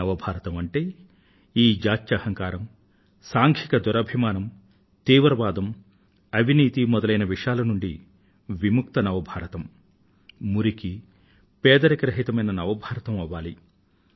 new India జాత్యహంకారం సాంఘిక దురభిమానం తీవ్రవాదం అవినీతి మొదలైన విషాల నుండి విముక్త నవ భారతం మురికి పేదరిక రహితమైన నవ భారతం అవ్వాలి